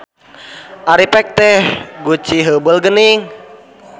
Ari pek ieu teh guci heubeul geuning.